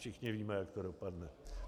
Všichni víme, jak to dopadne.